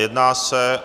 Jedná se